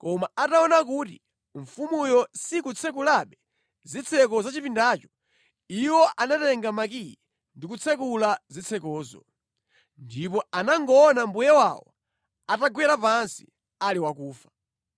Koma ataona kuti mfumuyo sikutsekulabe zitseko za chipindacho, iwo anatenga makiyi ndi kutsekula zitsekozo, ndipo anangoona mbuye wawo atagwera pansi, ali wakufa.